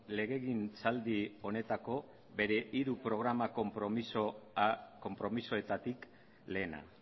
legegintzaldi honetako bere hiru programa konpromisoetatik lehena